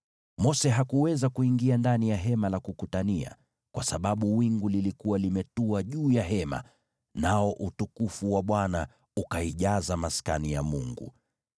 Mose hakuweza kuingia ndani ya Hema la Kukutania kwa sababu wingu lilikuwa limetua juu ya Hema, nao utukufu wa Bwana ukaijaza Maskani ya Mungu.